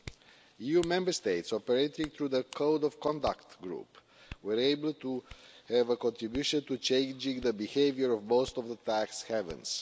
The EU Member States operating through the Code of Conduct Group were able to have a contribution to changing the behaviour of most of the tax havens.